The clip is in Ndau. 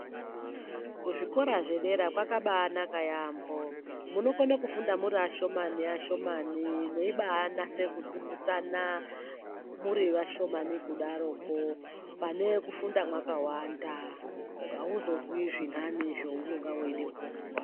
Ku zvikora zve dera kwaka bai naka yambo munokona kufunda muri ashomani shomani meibai natse kudzidzisana muri vashomani kusaro kwo pane kufunda makawanda auzozwi zvinhane zvaunenge weida kunzwa.